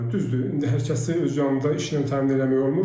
Düzdür, indi hər kəsi öz yanında işlə təmin eləmək olmur.